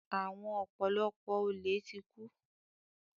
Àwọn ọ̀pọ̀lọpọ̀ olè ti kú.